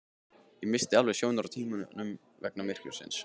Ég missti alveg sjónar á tímanum vegna myrkursins